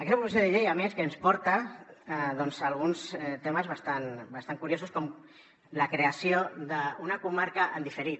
aquesta proposició de llei a més que ens porta alguns temes bastant curiosos com la creació d’una comarca en diferit